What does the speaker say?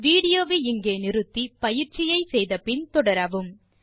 video வை நிறுத்தி பயிற்சியை முடித்த பின் தொடரவும்